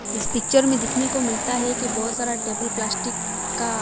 इस पिक्चर मे दिखने को मिलता हैं कि बहोत सारा टेबल प्लास्टिक का--